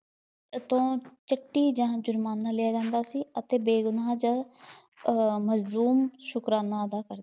ਤੋਂ ਜਾਂ ਜ਼ੁਰਮਾਨਾ ਲਿਆਂ ਜਾਂਦਾ ਸੀ ਅਤੇ ਬੇਗੁਨਾਹ ਅਤੇ ਅਹ ਮਜ਼ਲੂਮ ਸ਼ੁਕਰਾਨਾ ਅਦਾ ਕਰ